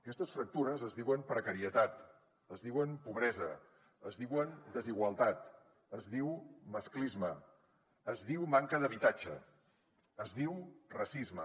aquestes fractures es diuen precarietat es diuen pobresa es diuen desigualtat es diu masclisme es diu manca d’habitatge es diu racisme